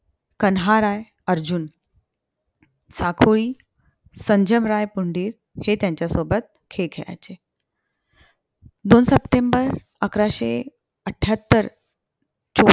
कन्हाराय अर्जुन, साफूली, संजमराय पुंडिल हे त्यांच्या सोबत खेळ खेळायचे. दोन सप्टेंबर अकराशे अठ्ठयाहत्तर चोवीस